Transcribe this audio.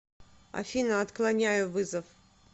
афина отклоняю вызов